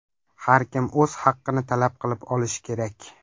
Har kim o‘z haqini talab qilib olishi kerak.